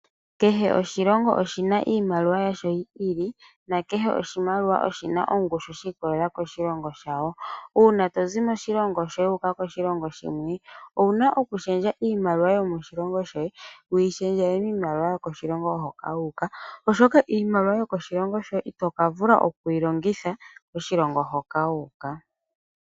Kehe oshilongo oshina iimaliwa yasho yi i li nakehe oshimaliwa oshina ongushu shi ikolelela koshilongo shawo, uuna tozi moshilongo shoye wu uka koshilongo shimwe owuna oku shendja iimaliwa yomoshilongo shoye wu yi shendjele miimaliwa yo koshilongo hoka wu uka oshoka iimaliwa yokoshilongo shoye itoka vula okuyi longitha koshilongo hoka wu uka.